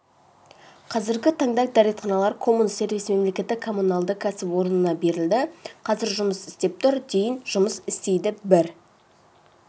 қазіргі таңда дәретханалар коммун-сервис мемлекеттік коммуналды кәсіпорнына берілді қазір жұмыс істеп тұр дейін жұмыс істейді бір